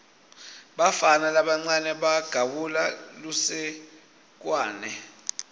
bafana labancane bagawula lusekwane